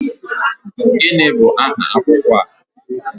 Gịnị bụ aha akwụkwọ a?